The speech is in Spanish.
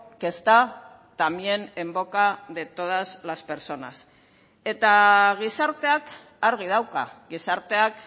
que está también en boca de todas las personas eta gizarteak argi dauka gizarteak